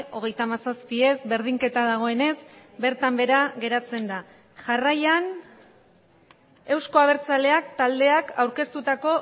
hogeita hamazazpi ez berdinketa dagoenez bertan behera geratzen da jarraian euzko abertzaleak taldeak aurkeztutako